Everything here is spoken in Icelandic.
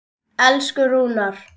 Elsku Rúnar.